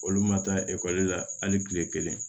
Olu ma taa ekɔli la hali kile kelen